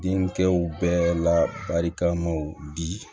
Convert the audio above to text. Denkɛw bɛɛ la barikamaw di